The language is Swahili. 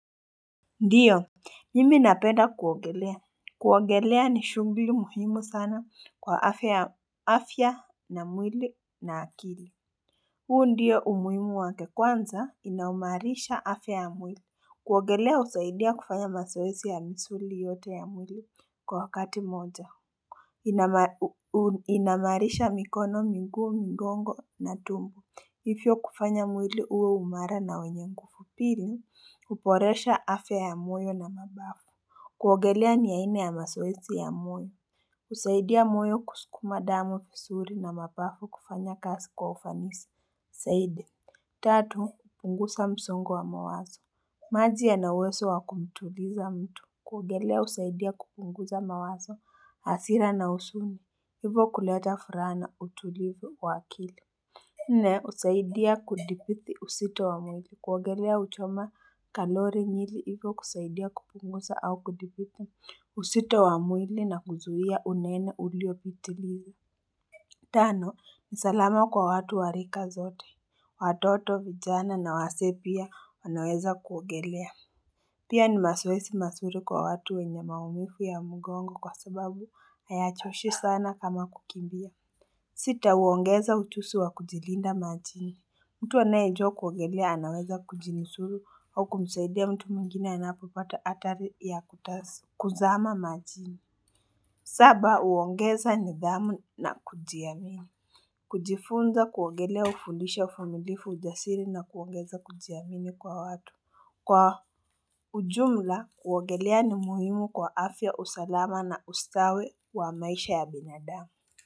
Ndiyo mimi napenda kuogelea kuogelea ni shughuli muhimu sana kwa afya na mwili na akili huu ndiyo umuhimu wakekwanza inaimarisha afya ya mwili kuogelea husaidia kufanya mazoezi ya misuli yote ya mwili kwa wakati mmoja Inaimarisha mikono, miguu, migongo na tumbo hivyo kufanya mwili uwe umara na wenye nguvupili huboresha afya ya moyo na mapafu kuogelea ni aina ya mazoezi ya moyo husaidia moyo kusukuma damu vizuri na mapafu kufanya kazi kwa ufanisi zaidi tatu, kupunguza msongo wa mawazo maji ya na uwezo wa kumtuliza mtu kuogelea husaidia kupunguza mawazo hasira na huzuni, hivyo kuleta furahana utulivu waakili. Nne, husaidia kudhibiti uzito wamwili. Kuogelea huchoma kalori nyingi hivo kusaidia kupunguza au kudhibiti uzito wamwili na kuzuia unene uliopitiliza. Tano, nisalama kwa watu warika zote. Watoto vijana na wazee pia wanaweza kuogelea. Pia ni mazoezi mazuri kwa watu wenye maumivu ya mgongo kwa sababu hayachoshi sana kama kukimbia. Sita huongeza ujuzi wa kujilinda majini. Mtu anaye jua kuogelea anaweza kujinu suru au kumsaidia mtu mwingine anapopata hatari ya kuzama majini. Saba huongeza nidhamu na kujiamini. Kujifunza kuogelea hufundisha uvumilivu ujasiri na kuongeza kujiamini kwa watu. Kwa ujumla kuogelea ni muhimu kwa afya usalama na ustawi wa maisha ya binadamu.